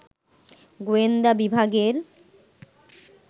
গোয়েন্দা বিভাগের